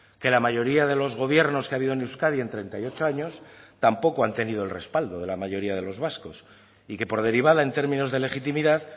que la mayoría de los gobiernos que ha habido en euskadi en treinta y ocho años tampoco han tenido el respaldo de la mayoría de los vascos y que por derivada en términos de legitimidad